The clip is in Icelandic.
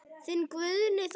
Þinn Guðni Þór.